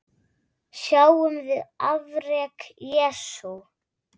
Sjáum við afrek Jesú?